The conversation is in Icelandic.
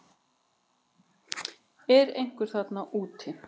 Er einhver þarna úti